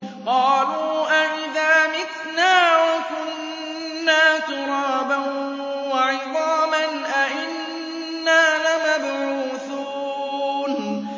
قَالُوا أَإِذَا مِتْنَا وَكُنَّا تُرَابًا وَعِظَامًا أَإِنَّا لَمَبْعُوثُونَ